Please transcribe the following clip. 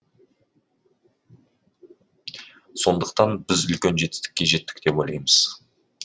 сондықтан біз үлкен жетістікке жеттік деп ойлаймыз